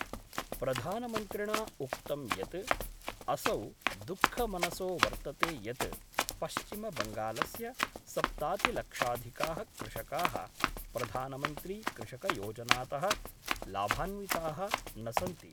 प्रधानमन्त्रिणा उक्तं यत् असौ दुःखमनसो वर्तते यत् पश्चिमबंगालस्य सप्तातिलक्षाधिकाः कृषकाः